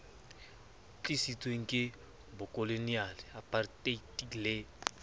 tlisitsweng ke bokoloniale aparteite le